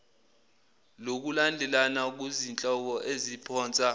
lokulandelana kuzihloko eziphonsa